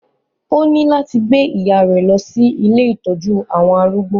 Ó ní láti gbẹ ìyá rẹ̀ lọ sí ilé ìtọ́jú àwọn arúgbó